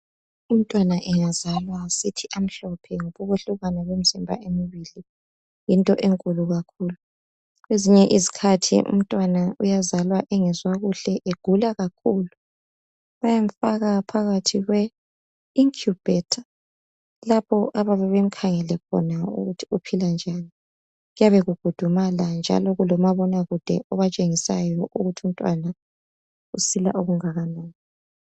Umntwana angazalwa sithi, 'Amhlophe! ' ngoba ukwehlukan kwemizimba emibili yinto enkulu kakhulu. Kwezinye izikhathi umntwana uyazalwa engezwa kuhle, egula kakhulu! Bàyamfaka phakathi kwe incubator. Lapho ababe bemkhangele khona ukuthi uphila njani. Kuyabe kugudumala, njalo kulomabonakude oyabe ebatshengisa ukuthi umntwana usila okungakanani.